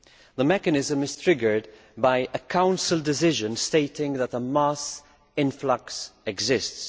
The mechanism is triggered by a Council decision stating that the mass influx exists.